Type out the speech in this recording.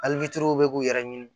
Ali fitiriw bɛ k'u yɛrɛ ɲini